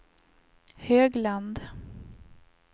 Högland